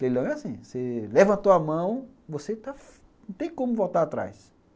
Leilão é assim, você levantou a mão, você não tem como voltar atrás.